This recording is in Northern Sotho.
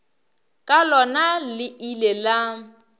ka lona le ile la